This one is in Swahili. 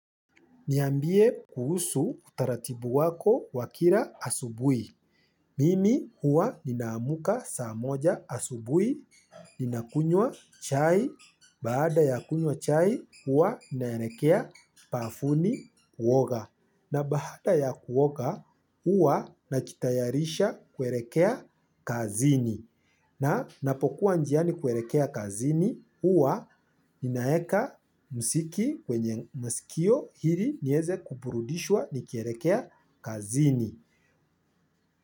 Niambie kuhusu utaratibu wako wa kira asubui. Mimi huwa ninaamka saa moja asubui, ninakunywa chai, baada ya kunywa chai huwa ninaerekea pafuni kuoga. Na baada ya kuoga, huwa nachitayarisha kuerekea kazini. Na napokuwa njiani kuerekea kazini, huwa ninaeka msiki kwenye masikio hiri nieze kuburudishwa ni kierekea kazini.